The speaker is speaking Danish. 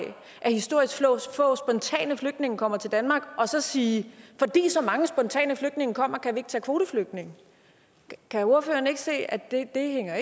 at historisk få spontane flygtninge kommer til danmark og så sige at fordi så mange spontane flygtninge kommer kan vi ikke tage kvoteflygtninge kan ordføreren ikke se at det ikke hænger